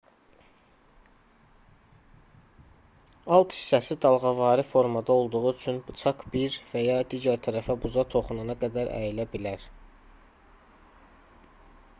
alt hissəsi dalğavari formada olduğu üçün bıçaq bir və ya digər tərəfə buza toxunana qədər əyilə bilər